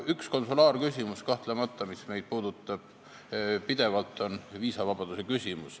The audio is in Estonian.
Üks konsulaarküsimus, mis meid kahtlemata pidevalt puudutab, on viisavabadus.